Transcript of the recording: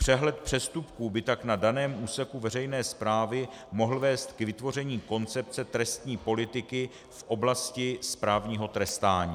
Přehled přestupků by tak na daném úseku veřejné správy mohl vést k vytvoření koncepce trestní politiky v oblasti správního trestání.